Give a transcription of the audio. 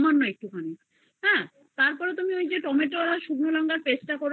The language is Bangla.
সামান্য একটুখানি তারপরে তুমি একটু tomato souce শুকনো লংকার paste করে